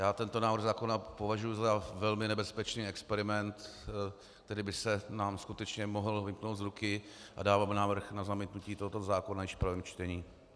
Já tento návrh zákona považuji za velmi nebezpečný experiment, který by se nám skutečně mohl vymknout z ruky, a dávám návrh na zamítnutí tohoto zákona již v prvním čtení.